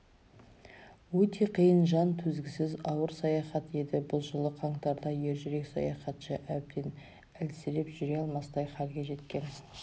өте қиын жан төзгісіз ауыр саяхат еді бұл жылы қаңтарда ержүрек саяхатшы әбден әлсіреп жүре алмастай халге жеткен